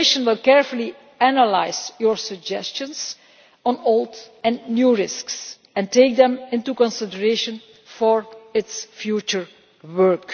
The Commission will carefully analyse your suggestions on old and new risks and take them into consideration for its future work.